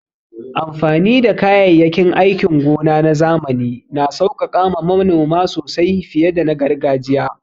Amfani da kayayyakin aikin gona na zamani na sauƙaƙa ma manoma sosai fiye da na gargajiya.